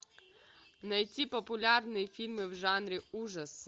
найти популярные фильмы в жанре ужасы